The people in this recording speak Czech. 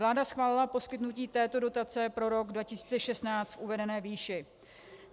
Vláda schválila poskytnutí této dotace pro rok 2016 v uvedené výši.